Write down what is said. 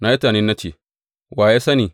Na yi tunani na ce, Wa ya sani?